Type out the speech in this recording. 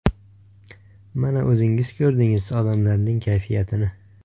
Mana, o‘zingiz ko‘rdingiz odamlarning kayfiyatini.